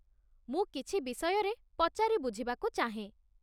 ମୁଁ କିଛି ବିଷୟରେ ପଚାରି ବୁଝିବାକୁ ଚାହେଁ